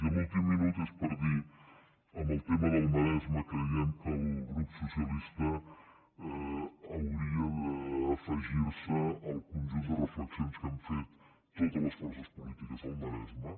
i l’últim minut és per dir en el tema del maresme que creiem que el grup socialista hauria d’afegir se al conjunt de reflexions que han fet totes les forces polítiques del maresme